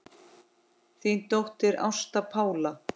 Þín dóttir, Ásta Pála.